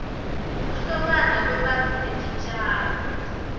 kuhlobana kwebantu netitjalo